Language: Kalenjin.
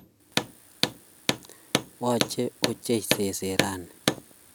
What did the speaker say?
Yoche ochei seset rani